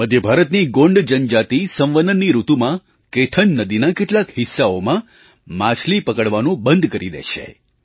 મધ્ય ભારતની ગોંડ જનજાતિ સંવનનની ઋતુમાં કેથન નદીના કેટલાક હિસ્સાઓમાં માછલી પકડવાનું બંધ કરી દે છે